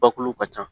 Bakuru ka ca